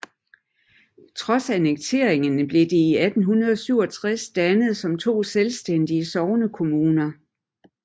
Trods annekteringen blev de i 1867 dannet som to selvstændige sognekommuner